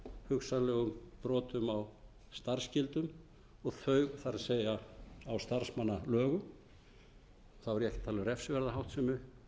hugsanlegum brotum á starfsskyldum þau það er á starfsmannalögum er ég ekki að tala um